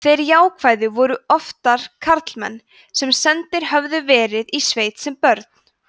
þeir jákvæðu voru oftar karlmenn sem sendir höfðu verið í sveit sem börn